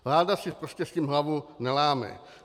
Vláda si prostě s tím hlavu neláme.